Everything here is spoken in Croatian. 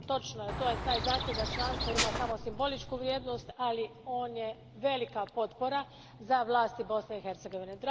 Točno je da je taj zahtjev za članstvo imao samo simboličku vrijednost, ali on je velika potpora za vlasti Bosne i Hercegovine.